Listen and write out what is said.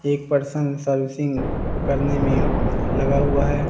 एक person servicing करने में लगा हुआ है।